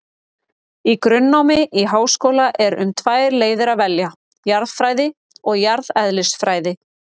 Í grunnnámi í háskóla er um tvær leiðir að velja, jarðfræði og jarðeðlisfræði.